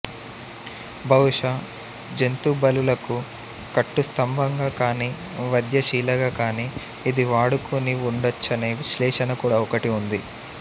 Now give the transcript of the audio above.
బహుశా జంతుబలులకు కట్టుస్తంభంగా కానీ వధ్యశిలగా కానీ ఇది వాడుకుని వుండొచ్చనే విశ్లేషన కూడా ఒకటి ఉంది